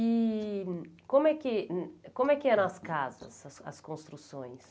E como é que como é que eram as casas, as as construções?